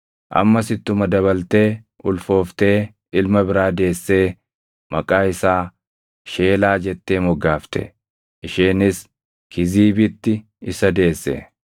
Ammas ittuma dabaltee ulfooftee ilma biraa deessee maqaa isaa Sheelaa jettee moggaafte. Isheenis Kiziibitti isa deesse.